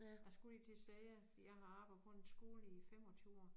Jeg skulle lige til at sige fordi jeg har arbejdet på en skole i 25 år